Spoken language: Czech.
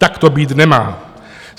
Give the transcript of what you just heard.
Tak to být nemá.